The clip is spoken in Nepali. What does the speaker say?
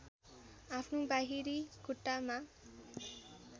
आफ्नो बाहिरी खुट्टामा